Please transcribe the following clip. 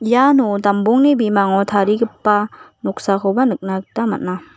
iano dambongni bimango tarigipa noksakoba nikna gita man·a.